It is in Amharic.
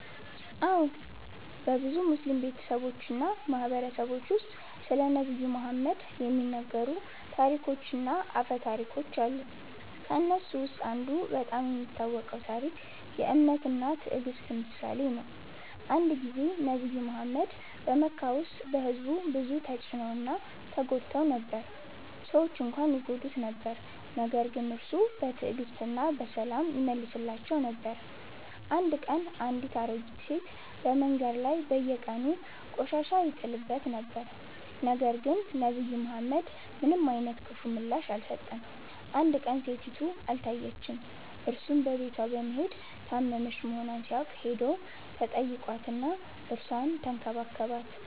አዎን፣ በብዙ ሙስሊም ቤተሰቦች እና ማህበረሰቦች ውስጥ ስለ ነብዩ መሐመድ (ሰ.ዐ.ወ) የሚነገሩ ታሪኮች እና አፈ ታሪኮች አሉ። ከእነሱ ውስጥ አንዱ በጣም የሚታወቀው ታሪክ የ“እምነት እና ትዕግስት” ምሳሌ ነው። አንድ ጊዜ ነብዩ መሐመድ (ሰ.ዐ.ወ) በመካ ውስጥ በሕዝቡ ብዙ ተጭነው እና ተጎድተው ነበር። ሰዎች እንኳን ይጎዱት ነበር ነገር ግን እርሱ በትዕግስት እና በሰላም ይመልሳቸው ነበር። አንድ ቀን አንድ አሮጌ ሴት በመንገድ ላይ በየቀኑ ቆሻሻ ይጥልበት ነበር፣ ነገር ግን ነብዩ መሐመድ ምንም አይነት ክፉ ምላሽ አልሰጠም። አንድ ቀን ሴቲቱ አልታየችም፣ እርሱም በቤቷ በመሄድ ታመመች መሆኗን ሲያውቅ ሄዶ ተጠይቋት እና እርሷን ተንከባከባት።